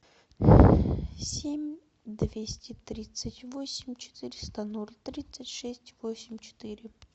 семь двести тридцать восемь четыреста ноль тридцать шесть восемь четыре